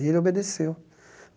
E ele obedeceu.